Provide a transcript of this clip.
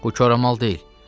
Bu koramal deyil.